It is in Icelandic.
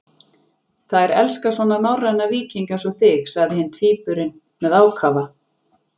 Þær elska svona norræna víkinga eins og þig, sagði hinn tvíburinn með ákafa.